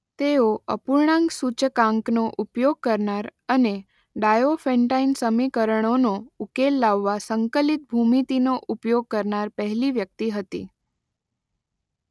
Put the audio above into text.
તેઓ અપૂર્ણાંક સૂચકાંકનો ઉપયોગ કરનાર અને ડાયોફેન્ટાઇન સમીકરણોનો ઉકેલ લાવવા સંકલિત ભૂમિતિનો ઉપયોગ કરનાર પહેલી વ્યક્તિ હતી.